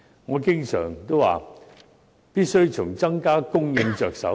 我經常說，必須從增加供應着手。